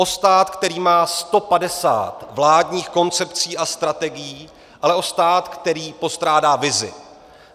O stát, který má 150 vládních koncepcí a strategií, ale o stát, který postrádá vizi.